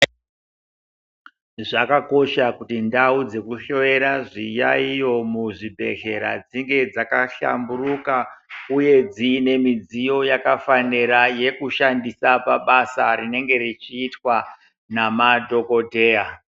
Zvakakosha kuti ndau dzekuhloyea zviyaiyo muzvibhedhlera dzinge dzakahlamburuka uye dziine midziyo yakafanira yekushandisa pabasa rinenge richiitwa namadhogodheya.